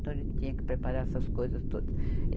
Então, a gente tinha que preparar essas coisas todas.